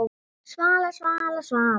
Svala, Svala, Svala!